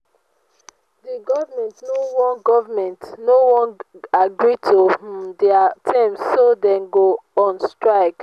the government no wan government no wan agree to um their terms so dey don go on strike